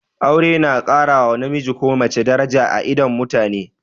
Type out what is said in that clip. Aure na ƙara wa namiji ko mace daraja a idon mutane